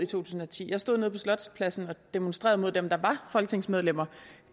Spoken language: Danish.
tusind og ti jeg stod nede på slotspladsen og demonstrerede mod dem der var folketingsmedlemmer